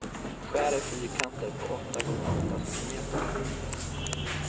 Skär i fyrkanter på åtta gånger åtta centimeter.